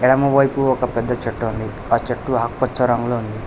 ఎడమ వైపు ఒక పెద్ద చెట్టు ఉంది ఆ చెట్టు ఆకు పచ్చ రంగులో ఉంది